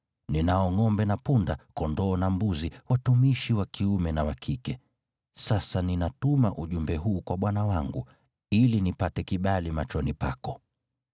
Ninao ngʼombe na punda, kondoo na mbuzi, watumishi wa kiume na wa kike. Sasa ninatuma ujumbe huu kwa bwana wangu, ili nipate kibali machoni pako.’ ”